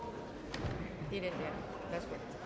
slut